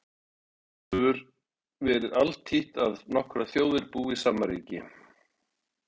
Til dæmis hefur verið altítt að nokkrar þjóðir búi í sama ríki.